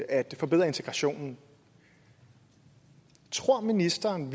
at forbedre integrationen tror ministeren